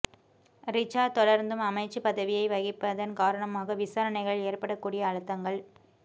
ரிசாட் தொடர்ந்தும் அமைச்சு பதவியை வகிப்பதன் காரணமாக விசாரணைகளில் ஏற்படக்கூடிய அழுத்தங்கள்